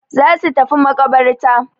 Za su tafi maƙabarta.